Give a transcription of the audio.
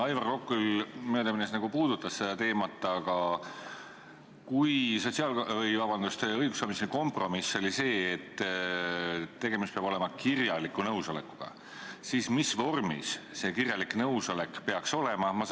Aivar Kokk küll möödaminnes puudutas seda teemat, aga kui õiguskomisjoni kompromiss oli see, et tegemist peab olema kirjaliku nõusolekuga, siis mis vormis see kirjalik nõusolek peaks olema?